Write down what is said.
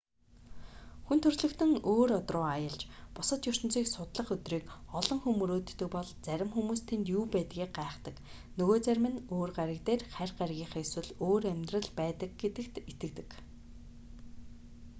хүн төрөлхтөн өөр од руу аялж бусад ертөнцийг судлах өдрийг олон хүн мөрөөддөг бол зарим хүмүүс тэнд юу байдгийг гайхдаг нөгөө зарим нь өөр гариг дээр харь гаригийнхан эсвэл өөр амьдрал байдаг гэж итгэдэг